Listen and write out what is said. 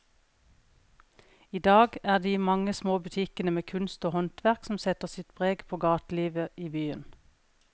I dag er det de mange små butikkene med kunst og håndverk som setter sitt preg på gatelivet i byen.